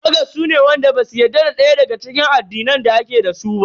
Fagans su ne wanda basu yarda da daya daga cikin addinan da ake dasu ba.